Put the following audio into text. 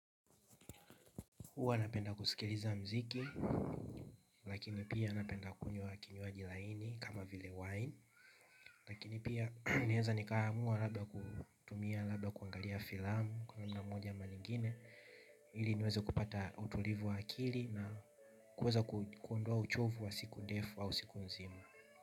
Huwa napenda kusikiliza muziki wa lakini pia napenda kunya kinywaji baridi kama vile wine pengine pia naweza labda kuangalia filamu kwa njia moja ama nyingine ili niweze kupata utulivu wa akili kuweza kuondua uchovu wa siku defu au siku nzima.